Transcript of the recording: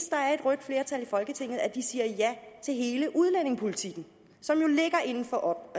rødt flertal i folketinget at de siger ja til hele udlændingepolitikken som jo ligger inden for